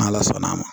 N' ala sɔnna a ma